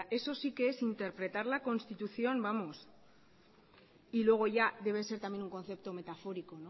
eso sí que es interpretar la constitución y luego ya debe ser también un concepto metafórico